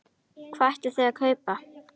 Hvað ætlið þið að kaupa?